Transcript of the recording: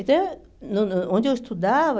Então, no no onde eu estudava...